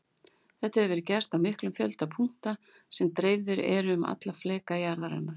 Þetta hefur verið gert á miklum fjölda punkta sem dreifðir eru um alla fleka jarðarinnar.